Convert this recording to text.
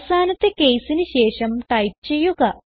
അവസാനത്തെ caseന് ശേഷം ടൈപ്പ് ചെയ്യുക